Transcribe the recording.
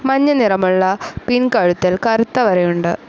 മഞ്ഞ നിറമുള്ള പിൻ കഴുത്തിൽ കറുത്ത വരയുണ്ട്.